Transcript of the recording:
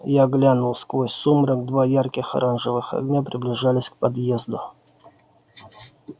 я глянул сквозь сумрак два ярких оранжевых огня приближались к подъезду